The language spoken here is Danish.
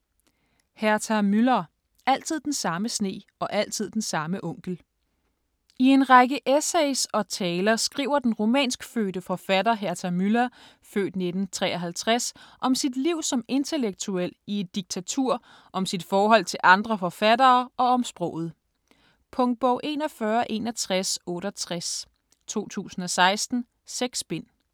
Müller, Herta: Altid den samme sne og altid den samme onkel I en række essays og taler skriver den rumænskfødte forfatter Herta Müller (f. 1953) skriver om sit liv som intellektuel i et diktatur, om sit forhold til andre forfattere og om sproget. Punktbog 416168 2016. 6 bind.